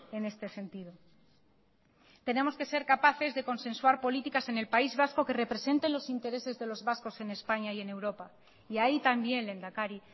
en este sentido tenemos que ser capaces de consensuar políticas en el país vasco que representen los intereses de los vascos en españa y en europa y ahí también lehendakari